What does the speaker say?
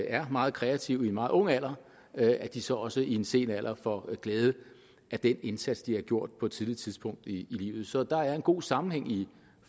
er meget kreative i en meget ung alder at de så også i en sen alder får glæde af den indsats de har gjort på et tidligt tidspunkt i livet så der er en god sammenhæng i